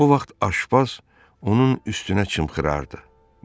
Bu vaxt Aşpaz onun üstünə çımxırardı.